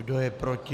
Kdo je proti?